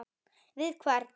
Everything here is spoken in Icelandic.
Við hvern?